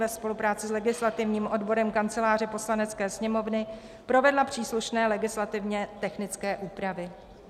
ve spolupráci s legislativním odborem Kanceláře Poslanecké sněmovny provedla příslušné legislativně technické úpravy."